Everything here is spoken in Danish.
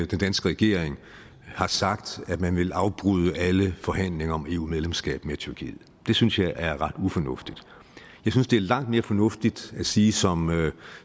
den danske regering har sagt at man vil afbryde alle forhandlinger om eu medlemskab med tyrkiet det synes jeg er ret ufornuftigt jeg synes det er langt mere fornuftigt at sige som